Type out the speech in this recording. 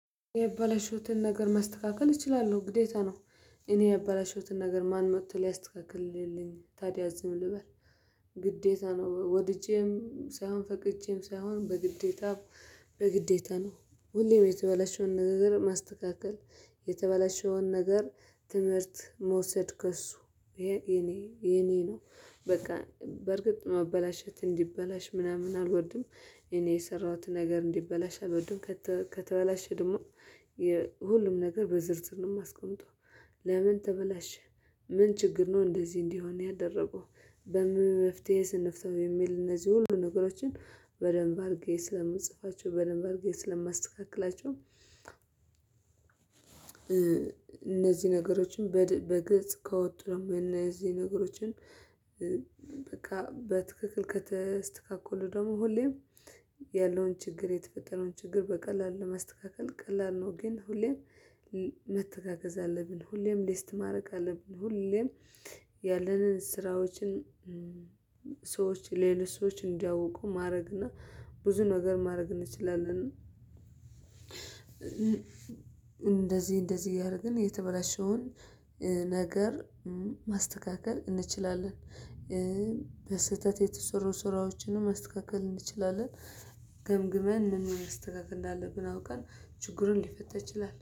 ያበላሸሁትን ነገር ማስተካከል እችላለሁ ግዴታ ነው። እኔ ያበላሸሁትን ነገር ማን መቶ ሊያስተካክልልኝ ታዲያ ዝም ልበል። ግዴታ ነው። ወድጄም ሳይሆን ፈቅጄም ሳይሆን በግዴታ በግዴታ ነው። ሁሌም የተበላሸውን ነገር ማስተካከል፣ የተበላሸውን ነገር ትምህርት መውሰድ ከሱ፣ ይሄ የኔ የኔ ነው። በቃ በርግጥ ማበላሸት እንዲበላሽ ምናምን አልወድም። እኔ የሰራሁት ነገር እንዲበላሽ አልወድም። ከተ ከተበላሸ ደሞ የ ሁሉም ነገር በዝርዝር ነው ማስቀምጠው። ለምን ተበላሸ? ምን ችግር ነው እንደዚህ እንዲሆን ያደረገው? በምን መፍትሄስ እንፍታው? የሚል እነዚህ ሁሉ ነገሮችን በደንብ አርጌ ስለምፅፋቸው፣ በደንብ አርጌ ስለማስተካክላቸው እ እነዚ ነገሮችን በድ በግልጽ ከወጡ ደሞ፣ የነዚ ነገሮችን በቃ በትክክል ከተስተካከሉ ደሞ ሁሌም ያለውን ችግር፣ የተፈጠረውን ችግር፣ በቀላሉ ለማስተካከል ቀላል ነው። ግን ሁሌም መተጋገዝ አለብን። ሁሌም ሊስት ማረግ አለብን። ሁሌም ያለንን ስራዎችን ሰዎች ሌሎች ሰዎች እንዲያውቁ ማረግና ብዙ ነገር ማረግ እንችላለን። እንደዚ እንደዚ እያረግን የተበላሸውን እ ነገር እ ማስተካከል እንችላለን። እ በስህተት የተሰሩ ስራዎችንም ማስተካከል እንችላለን። ገምግመን ምኑን ማስተካከል እንዳለብን አውቀን ችግሩ ሊፈታ ይችላል።